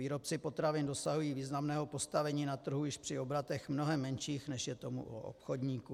Výrobci potravin dosahují významného postavení na trhu již při obratech mnohem menších, než je tomu u obchodníků.